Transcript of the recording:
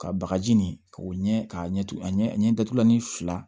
Ka bagaji nin ka o ɲɛ ka ɲɛ a ɲɛ datugulan ni fila